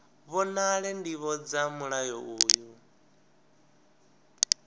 vhonale ndivho dza mulayo uyu